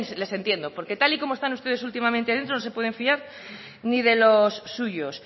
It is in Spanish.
les entiendo porque tal y como están ustedes últimamente dentro no se pueden fiar ni de los suyos